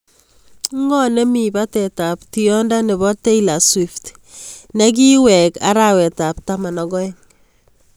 Ng'o nemi batetab tiendo nebo taylor swift ne kiwegen arawetab taman ak aeng'